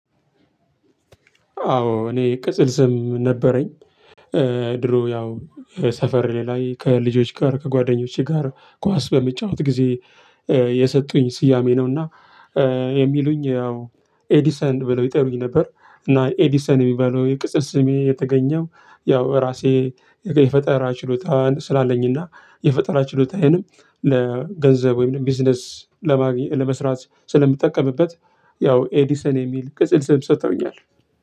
አዎ እኔ ቅጽል ስም ነበረኝ። ድሮ ያው ሰፈር ላይ ከልጆች ጋር ከጓደኞቼ ጋር ኳስ በምጫወት ጊዜ የሰጡኝ ስያሜ ነውና። የሚሉኝ ያው ኤዲሰን ብለው ይጠሩኝ ነበር እና ኤዲሰን የሚባለው የቅጽል ስሜ የተገኘው። ያው እራሴ የፈጠራ ችሎታ ስላለኝና የፈጠራ ችሎታዬንም ለገንዘብ ወይንም ቢዝነስ ለማግኘት ለመስራት ስለምጠቀምበት። ያው ኤዲሰን የሚል ቅጽል ስም ሰጥተውኛል።